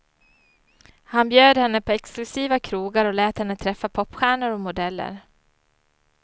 Han bjöd henne på exklusiva krogar och lät henne träffa popstjärnor och modeller.